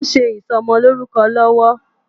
Wòn sé isòmòlórúkò lòwò